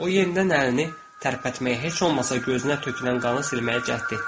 O yenidən əlini tərpətməyə, heç olmasa gözünə tökülən qanı silməyə cəhd etdi.